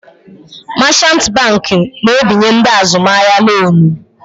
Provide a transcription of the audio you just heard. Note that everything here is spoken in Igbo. Machant banki na-ebinye ndị azụmahịa lonu.